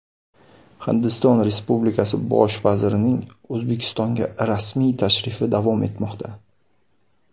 Hindiston Respublikasi Bosh vazirining O‘zbekistonga rasmiy tashrifi davom etmoqda.